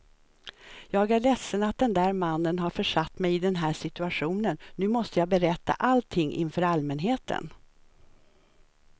Jag är ledsen att den där mannen har försatt mig i den här situationen, nu måste jag berätta allting inför allmänheten.